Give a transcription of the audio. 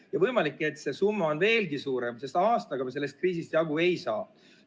Ja võimalik, et see summa on veelgi suurem, sest aastaga me sellest kriisist jagu ei saa.